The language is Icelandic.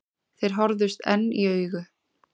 Þeir horfðust enn í augu.